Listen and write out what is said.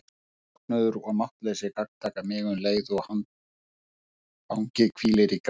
Söknuður og máttleysi gagntaka mig um leið og handfangið hvílir í greip minni.